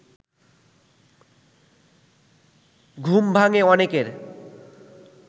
ঘুম ভাঙ্গে অনেকের